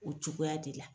O cogoya de la